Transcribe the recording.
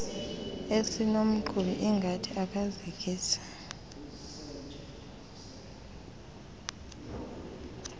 esinomqhubi ongathi akazikisi